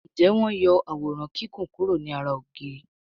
Njé wón yó Àwòrán Kíkún kuro ní àrà ògiri?